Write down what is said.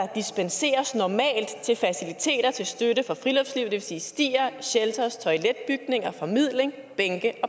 dispenseres normalt til faciliteter til støtte for friluftslivet det vil sige stier shelters toiletbygninger formidling bænke og